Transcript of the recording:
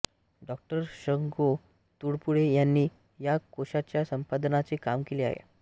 डॉ शं गो तुळपुळे यांनी या कोशाच्या संपादनाचे काम केले आहे